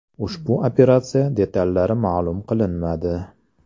Ushbu operatsiya detallari ma’lum qilinmadi.